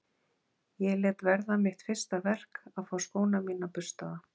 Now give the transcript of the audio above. Ég lét verða mitt fyrsta verk að fá skóna mína burstaða.